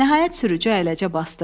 Nəhayət sürücü əyləcə basdı.